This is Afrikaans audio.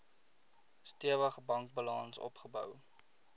stewige bankbalans opgebou